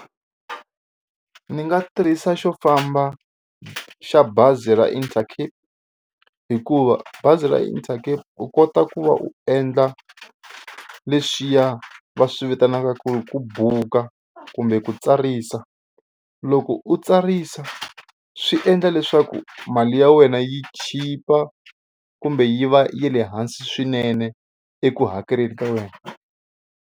Ni nga tirhisa xo famba xa bazi ra Intercape hikuva bazi ra Intercape u kota ku va u endla leswiya va swi vitanaka ku ku buka kumbe ku tsarisa. Loko u tsarisa swi endla leswaku mali ya wena yi chipa kumbe yi va yi le hansi swinene eku hakeleni ka wena.